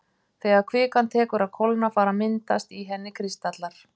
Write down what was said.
Þegar kvikan tekur að kólna fara að myndast í henni kristallar.